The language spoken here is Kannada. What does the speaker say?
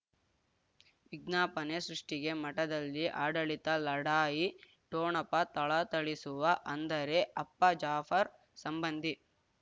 ವಿಜ್ಞಾಪನೆ ಸೃಷ್ಟಿಗೆ ಮಠದಲ್ಲಿ ಆಡಳಿತ ಲಢಾಯಿ ಠೋಣಪ ಥಳಥಳಿಸುವ ಅಂದರೆ ಅಪ್ಪ ಜಾಫರ್ ಸಂಬಂಧಿ